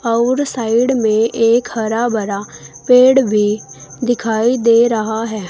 और साइड में एक हरा भरा पेड़ भी दिखाई दे रहा है।